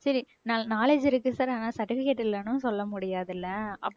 சரி knowledge இருக்கு sir ஆனால் certificate இல்லைன்னும் சொல்ல முடியாது இல்லை